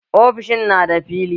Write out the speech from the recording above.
Ofishin na da fili